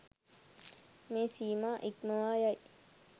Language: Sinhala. මේ සීමා ඉක්මවා යයි.